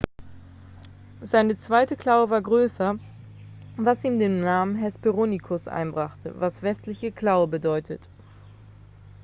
seine zweite klaue war größer was ihm den namen hesperonychus einbrachte was westliche klaue bedeutet